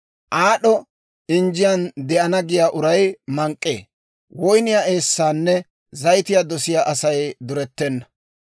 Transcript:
Aad'o injjiyaan de'ana giyaa uray mank'k'ee; woyniyaa eessaanne zayitiyaa dosiyaa Asay durettenna.